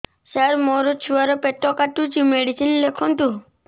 ସାର ମୋର ଛୁଆ ର ପେଟ କାଟୁଚି ମେଡିସିନ ଲେଖନ୍ତୁ